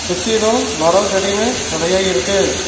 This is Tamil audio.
சுத்திலு மரோ செடினு நெறையா இருக்கு.